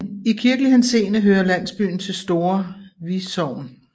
I kirkelig henseende hører landsbyen til Store Vi Sogn